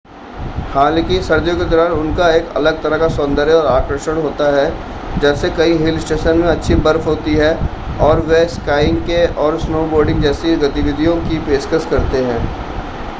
हालांकि सर्दियों के दौरान उनका एक अलग तरह का सौंदर्य और आकर्षण होता है जब कई हिल स्टेशन में अच्छी बर्फ होती है और वे स्कीइंग और स्नोबोर्डिंग जैसी गतिविधियों की पेशकश करते हैं